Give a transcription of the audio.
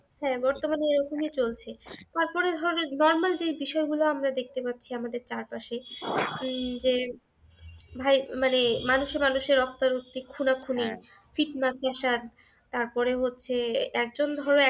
তারপরে ধরো normal যে বিষয়গুলো আমরা দেখতে পাচ্ছি আমাদের চারপাশে উম যে, ভাই মানে মানুষে মানুষে রক্তারক্তি, খুনাখুনি, ফিৎনা ফ্যাসাদ তারপরে হচ্ছে একজন ধরো